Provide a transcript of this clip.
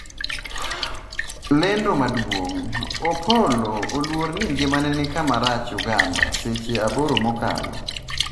lendo maduong' : Opollo oluor ni ngimane ni kama rach Uganda seche aboro mokalo